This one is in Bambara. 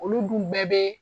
Olu dun bɛɛ be